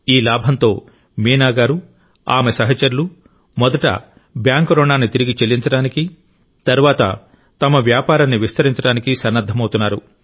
ఈ లాభంతో మీనా గారు ఆమె సహచరులు మొదట బ్యాంకు రుణాన్ని తిరిగి చెల్లించడానికి తరువాత తమ వ్యాపారాన్ని విస్తరించడానికి సన్నద్ధమవుతున్నారు